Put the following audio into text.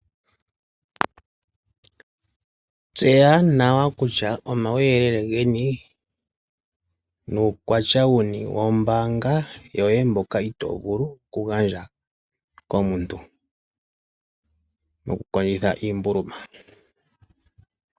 Tseya nawa kutya omauyelele geni nuukwatya wuni wombaanga yoye mboka itoo vulu oku gandja komuntu, oku kondjitha iimbuluma.